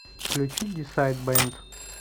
включи дисайд бэнд